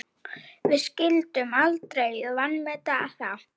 Við skyldum aldrei vanmeta það.